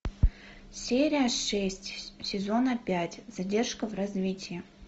серия шесть сезона пять задержка в развитии